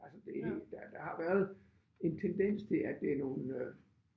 Altså det der der har været en tendens til det er nogle